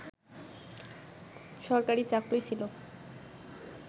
সরকারী চাকুরীই ছিল